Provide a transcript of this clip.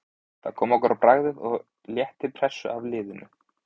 Það kom okkur á bragðið og létti pressu af liðinu.